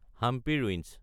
Hampi ruins